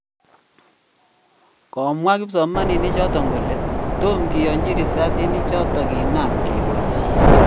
Komwa kipsomaik kole tom kiyanchi rasisinichoton kinam kepoisien .